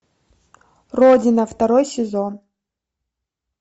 родина второй сезон